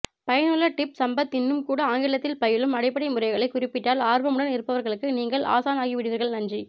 பயனுள்ள டிப்ஸ் சம்பத் இன்னும் கூட ஆங்கிலத்தில் பயிலும் அடிப்படை முறைகளை குறிப்பிட்டால் ஆர்வமுடன் இருப்பவர்களுக்கு நீங்கள் ஆசானாகிவிடுவீர்கள் நன்றி